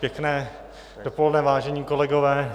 Pěkné dopoledne, vážení kolegové.